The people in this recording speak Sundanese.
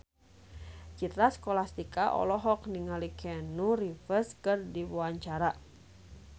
Citra Scholastika olohok ningali Keanu Reeves keur diwawancara